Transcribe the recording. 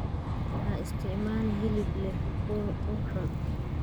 Ha isticmaalin hilib leh ur xun.